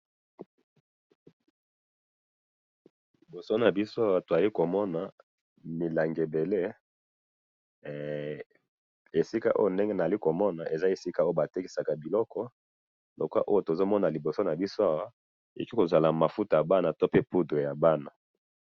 liboso na biso awa tozali komona milangi ebele, esika oyo ndenge nazali komona eza esika batekisaka biloko, loko oyo tozomona liboso nabiso awa, pe ekozala mafuta ya bana pe te poudre ya bana